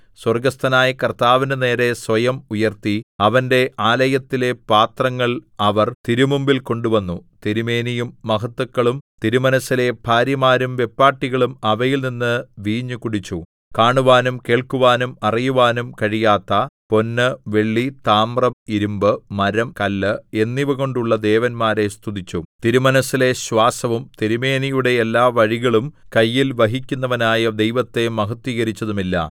സ്വർഗ്ഗസ്ഥനായ കർത്താവിന്റെ നേരെ സ്വയം ഉയർത്തി അവന്റെ ആലയത്തിലെ പാത്രങ്ങൾ അവർ തിരുമുമ്പിൽ കൊണ്ടുവന്നു തിരുമേനിയും മഹത്തുക്കളും തിരുമനസ്സിലെ ഭാര്യമാരും വെപ്പാട്ടികളും അവയിൽ നിന്ന് വീഞ്ഞു കുടിച്ചു കാണുവാനും കേൾക്കുവാനും അറിയുവാനും കഴിയാത്ത പൊന്ന് വെള്ളി താമ്രം ഇരിമ്പ് മരം കല്ല് എന്നിവകൊണ്ടുള്ള ദേവന്മാരെ സ്തുതിച്ചു തിരുമനസ്സിലെ ശ്വാസവും തിരുമേനിയുടെ എല്ലാവഴികളും കയ്യിൽ വഹിക്കുന്നവനായ ദൈവത്തെ മഹത്ത്വീകരിച്ചതുമില്ല